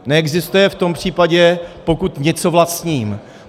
Neexistuje v tom případě, pokud něco vlastním.